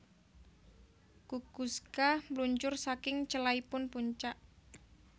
Kukuczka meluncur saking celaipun puncak